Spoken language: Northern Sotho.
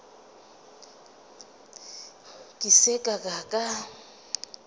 ke se ka ka ka